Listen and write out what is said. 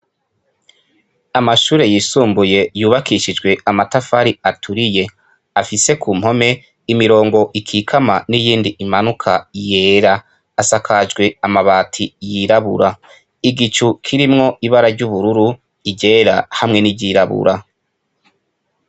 Amashure yisumbuye yubakishijwe amatafari aturiye afise kumpome imirongo ikikama n’iyindi imanuka yera, asakajwe amabati yirabura. Igicu kirimwo ibara ry’ubururu, iryera hamwe n’iryirabura.